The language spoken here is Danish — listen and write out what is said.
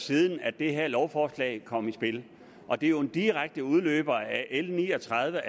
siden at det her lovforslag kom i spil og det er en direkte udløber af l ni og tredive